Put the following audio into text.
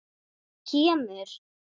Þetta kemur.